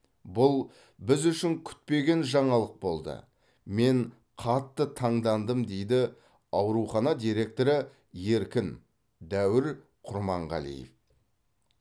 бұл біз үшін күтпеген жаңалық болды мен қатты таңдандым дейді аурухана директоры еркін дәуір құрманғалиев